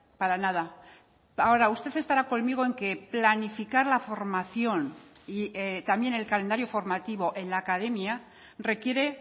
para nada ahora usted estará conmigo en que planificar la formación y también el calendario formativo en la academia requiere